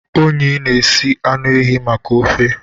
Onyi na-esi anụ ehi maka ofe.